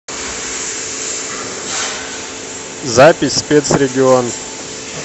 запись спецрегион